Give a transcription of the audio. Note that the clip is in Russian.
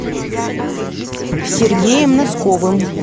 сергеем носковым